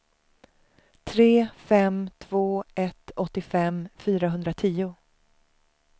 tre fem två ett åttiofem fyrahundratio